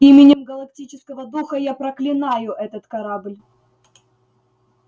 именем галактического духа я проклинаю этот корабль